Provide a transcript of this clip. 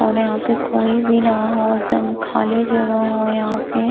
और यहाँ पे कोई भी ना हो एकदम खाली जगह हो यहाँ पे।